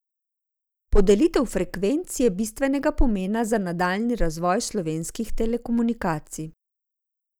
Podelitev frekvenc je bistvenega pomena za nadaljnji razvoj slovenskih telekomunikacij.